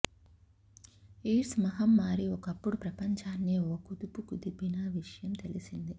AIDS మహమ్మారీ ఒకప్పుడు ప్రపంచాన్నే ఓ కుదుపు కుదిపిన విషయం తెలిసిందే